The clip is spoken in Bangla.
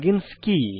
plug ইন্স কি